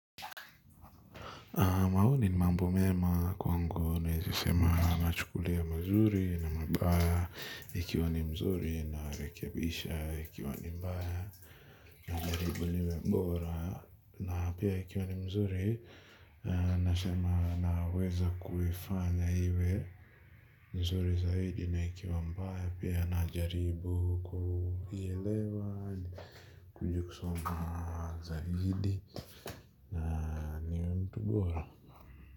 Maoni ni mambo mema kwa ngu nawezasema nachukulia mazuri na mabaya ikiwa ni mzuri na rekebisha ikiwa ni mbaya na ili ikuwe ni bora na pia ikuwe ni mzuri nasema na weza kuifanya iwe mzuri zaidi na ikiwa mbaya pia na jaribu kuielewa ni kuje kusoma zaidi na niwe mtu bora.